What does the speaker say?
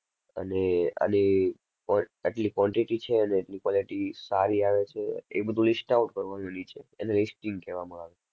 અને અને ક્વા~આટલી quantity છે અને આટલી quality સારી આવે છે એ બધુ list out કરવાનું નીચે એને listing કહેવામાં આવે.